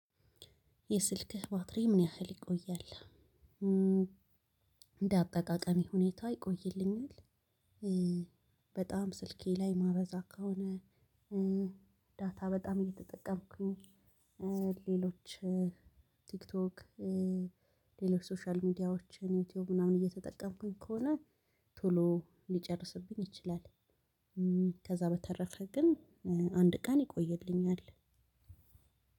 የስልክህ? ባትሪ ምን ያህል ይቆያል እንደ አጠቃቀሚ ሁኔታ ይቆይልኛል። በጣም ስልኬ ላይ ማበዛ ከሆነ ዳታ በጣም እየተጠቀምኩኝ ሌሎች ቲክቶክ ሌሎች ሶሻል ሚዲያዎችን ዩቲዩብ ምናምን እየተጠቀምኩኝ ከሆነ ቶሎ ሊጨርስብኝ ይችላል። ከዛ በተረፈ ግን አንድ ቀን ይቆየልኛል።